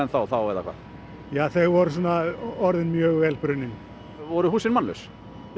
þá eða hvað þau voru orðin mjög vel brunnin voru húsin mannlaus já